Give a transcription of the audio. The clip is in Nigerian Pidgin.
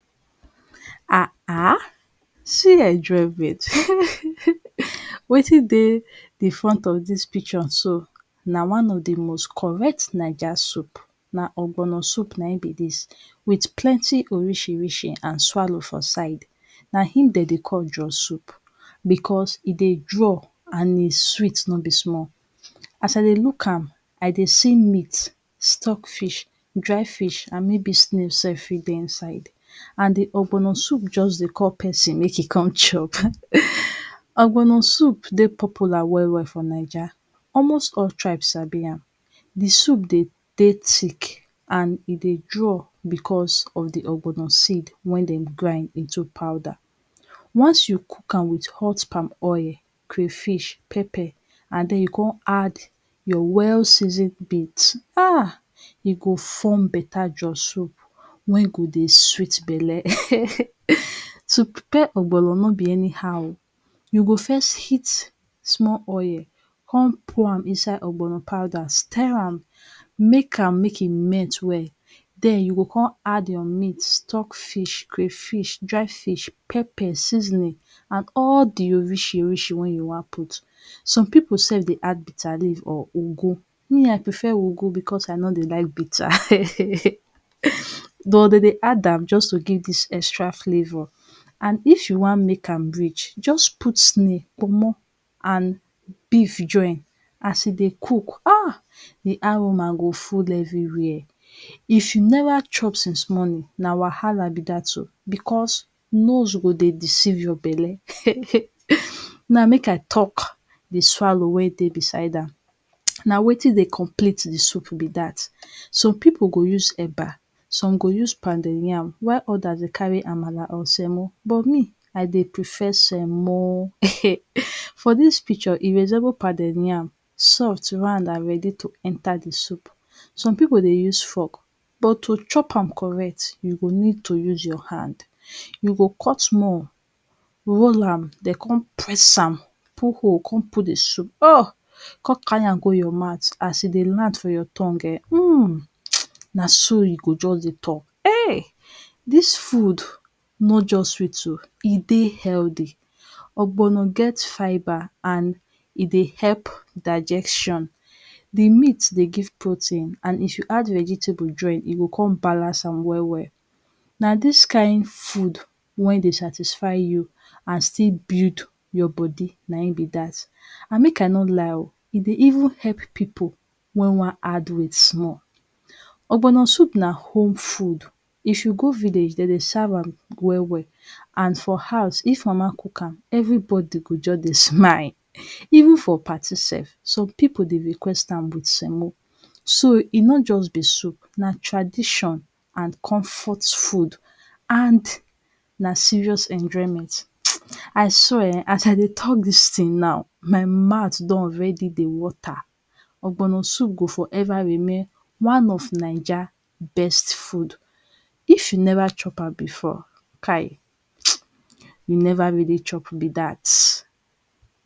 um see enjoyment wetin dey the front of dis picture so na one of the most correct naija soup. Na ogbono soup na im be dis, with plenty orisirisi and swallow for side. Na im de dey call draw soup because e dey draw and e sweet no be small. As i dey look am, I dey see meat, stockfish, dry fish and maybe snail self fit dey inside. And the ogbono soup just dey call person make e con chop. Ogbono soup dey popular well well for naija. Almost all tribes sabi am. The soup dey dey thick and e dey draw because of the ogbono seed wey dem grind into powder. Once you cook am with hot palm oil, cryfish, pepper and den you con add your well-seasoned um. E go form better draw soup wey go dey sweet belle. To prepare ogbono no be anyhow. You go first heat small oil, con pour am inside ogbono powder, steer am, make am make e melt well. Den you go con add your meat, stockfish, crayfish, dry fish, pepper, seasoning and all the orisirisi wey you wan put. Some pipu self dey add bitter leaf or ugu. Me, i prefer ugu because i no dey like bitter. though de dey add am just to give dis extra flavour. And if you wan make am rich, just put snail, kpomo and beaf join as e dey cook um. The aroma go full everywhere. If you never chop since morning, na wahala be dat oh because nose go dey deceive your belle. Now, make i talk the swallow wey dey beside am. Na wetin dey complete the soup be dat. Some pipu go use eba, some go use pounded yam while others dey carry amala or semo but me, I dey prefer semo. For dis picture, e resemble pounded yam, soft, round and ready to enter the soup. Some pipu dey use fork but to chop am correct, you go need to use your hand. You go cut small, roll am, den con press am, put hole con put the soup um, con carry am go your mouth. As e dey land for your tongue um um. Na so you go just dey talk um dis food no just sweet oh. E dey healthy. Ogbono get fibre and e dey help digestion. The meat dey give protein and if you add the vegetable join, e go con balance am well well. Na dis kind food wey dey satisfy you and still build your body, na im be dat. And make i no lie oh, e dey even help pipu wey wan add weight small. Ogbono soup na home food. If you go village, de dey serve am well well and for house If mama cook am, everybody go just dey smile. Even for party self, some people dey request am with semo. So, e no just be soup, na tradition and comfort food. And na serious enjoyment um. I swear um, as i dey tallk dis thing now, my mouth don dey already dey water. Ogbono soup go forever remain one of naija best food. If you never chop am before kai um you never really chop be dat.